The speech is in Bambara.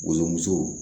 Woso musow